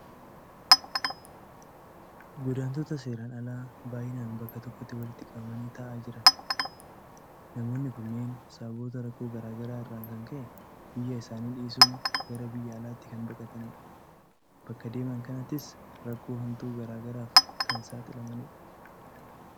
Godaantota seeraan alaa baay'inaan bakka tokkotti walitti qabamanii taa'aa jiran. Namoonni kunneen sababoota rakkoo garaa garaa irraan kan ka'e biyya isaanii dhiisuun gara biyya alaatti kan baqatanidha. Bakka deeman kanattis rakkoo hamtuu garaa garaaf kan saaxilamanidha.